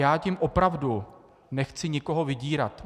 Já tím opravdu nechci nikoho vydírat.